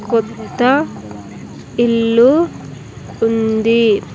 కొత్త ఇల్లు ఉంది.